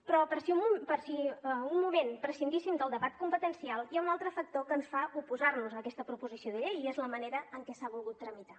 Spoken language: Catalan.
però per si un moment prescindíssim del debat competencial hi ha un altre factor que ens fa oposar nos a aquesta proposició de llei i és la manera en què s’ha volgut tramitar